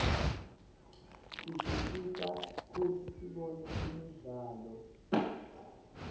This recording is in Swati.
tisisita kutsi sibone imidlalo